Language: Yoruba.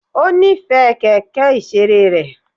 Ó nífẹ̀ẹ́ kẹ̀kẹ́ ìṣeré rẹ̀.